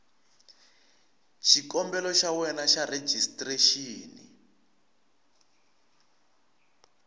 xikombelo xa wena xa rejistrexini